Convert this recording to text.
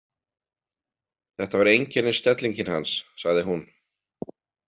Þetta var einkennisstellingin hans, sagði hún.